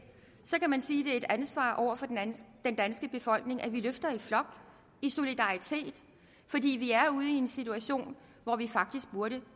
så kan man sige at det er et ansvar over for den danske befolkning at vi løfter i flok i solidaritet fordi vi er ude i en situation hvor vi faktisk burde